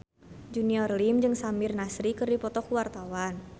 Junior Liem jeung Samir Nasri keur dipoto ku wartawan